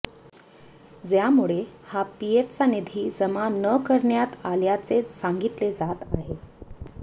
ज्यामुळे हा पीएफचा निधी जमा न करण्यात आल्याचे सांगितले जात आहे